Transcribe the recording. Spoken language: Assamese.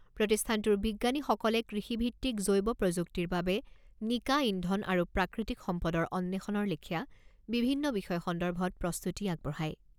প্ৰতিষ্ঠানটোৰ বিজ্ঞানীসকলে কৃষিভিত্তিক জৈৱ প্ৰযুক্তিৰ বাবে নিকা ইন্ধন আৰু প্ৰাকৃতিক সম্পদৰ অন্বেষণৰ লেখীয়া বিভিন্ন বিষয় সন্দৰ্ভত প্ৰস্তুতি আগবঢ়ায়।